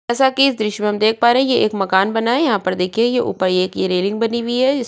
जैसा की इस दृश्य में देख पा रहै है ये एक मकान बना है यहाँ पर देखिये ऊपर ये रेनिंग बनी हुई है।